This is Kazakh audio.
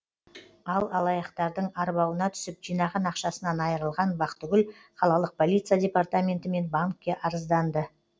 ал алаяқтардың арбауына түсіп жинаған ақшасынан айырылған бақтыгүл қалалық полиция департаменті мен банкке арызданды